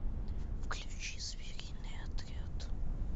включи звериный отряд